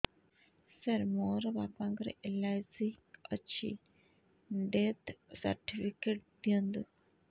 ସାର ମୋର ବାପା ଙ୍କର ଏଲ.ଆଇ.ସି ଅଛି ଡେଥ ସର୍ଟିଫିକେଟ ଦିଅନ୍ତୁ